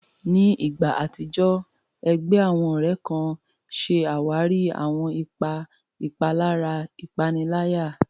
Ní ìgbà àtijọ́, ẹgbẹ́ àwọn ọ̀rẹ́ kan ṣe àwárí àwọn ipa ìpalára ìpaniláyà.